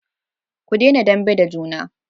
ku dena dambe da juna